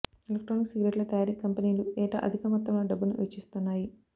electronic సిగరెట్ల తయారీ కంపెనీలు ఏటా అధిక మొత్తంలో డబ్బును వెచ్చిస్తున్నాయి